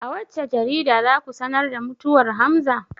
A wacce jarida za ku sanar da mutuwar hamza?